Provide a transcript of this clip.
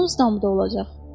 Donuz damı da olacaq.